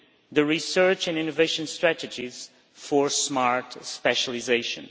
the research and innovation strategies for smart specialisation.